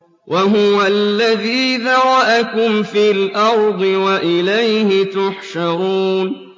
وَهُوَ الَّذِي ذَرَأَكُمْ فِي الْأَرْضِ وَإِلَيْهِ تُحْشَرُونَ